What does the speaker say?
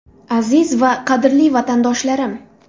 Aziz va qadrli vatandoshlarim!